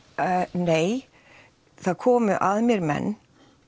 nei það komu að mér menn